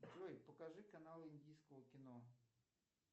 джой покажи каналы индийского кино